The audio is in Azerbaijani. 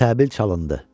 Təbil çalındı.